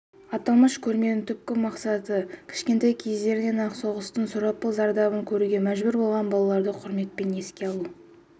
аталмыш көрменің түпкі мақсаты кішкентай кездерінен-ақ соғыстың сұрапыл зардабын көруге мәжбүр болған балаларды құрметпен еске алу